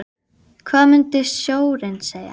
Hvað mun sjóðurinn segja?